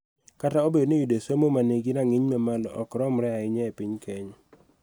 Kata obedo ni yudo somo ma nigi rang�iny mamalo ok romre ahinya e piny Kenya.